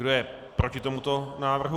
Kdo je proti tomuto návrhu?